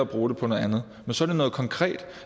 bruge på noget andet men så er det noget konkret